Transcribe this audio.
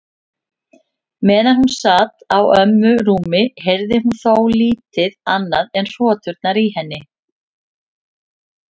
Meðan hún sat á ömmu rúmi heyrði hún þó lítið annað en hroturnar í henni.